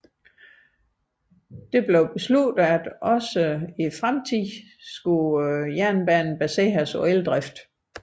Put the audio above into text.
Det besluttedes også at fremtidens jernbane skulle baseres på eldrift